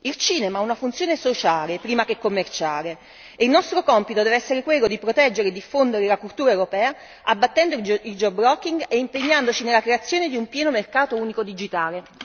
Il cinema ha una funzione sociale, prima che commerciale, e il nostro compito deve essere quello di proteggere e diffondere la cultura europea, abbattendo il geo blocking e impegnandoci nella creazione di un pieno mercato unico digitale.